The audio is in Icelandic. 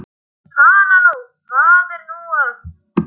Hana nú, hvað er nú að.